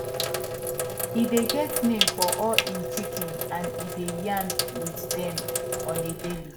e dey get name for all hin chicken and e dey yarn with dem on a daily